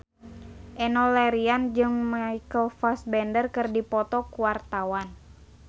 Enno Lerian jeung Michael Fassbender keur dipoto ku wartawan